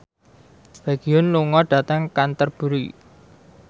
Baekhyun lunga dhateng Canterbury